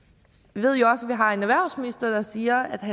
vi har en erhvervsminister der siger